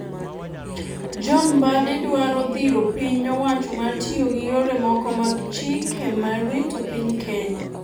John Mbadi dwaro dhiro piny owacho mar tiyo gi yore moko mag chike mar rito piny Kenya